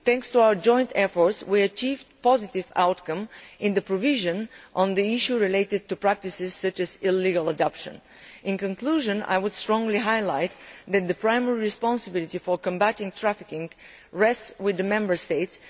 Thanks to our joint efforts, we have achieved a positive outcome in the provision on the issue related to practices such as illegal adoption. In conclusion, I would strongly highlight that the primary responsibility for combating trafficking rests with the Member States.